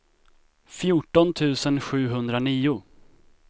fjorton tusen sjuhundranio